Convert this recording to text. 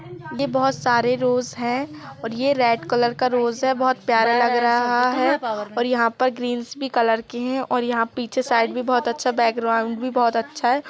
ये बहुत सारे रोज है और ये रेड कलर का रोज है बहुत प्यारा लग रहा है और यहाँ पर ग्रीन्स भी कलर के है और यहाँ पीछे साइड भी बहुत अच्छा बैकग्राउंड भी बहुत अच्छा है।